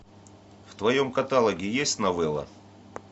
в твоем каталоге есть новелла